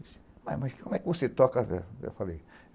mas como é que você toca assim? Né eu fakei